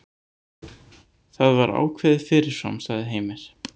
Það var ákveðið fyrirfram, sagði Heimir.